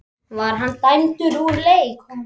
Var hann dæmdur úr leik?